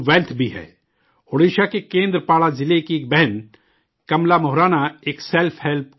اوڈیشہ کے کیندر پاڑہ ضلع کی ایک بہن کملا موہرانا ایک سیلف ہیلپ گروپ چلاتی ہیں